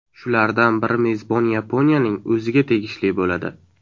Shulardan biri mezbon Yaponiyaning o‘ziga tegishli bo‘ladi.